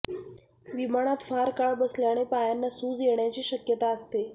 विमानात फार काळ बसल्याने पायांना सूज येण्याची शक्यता असते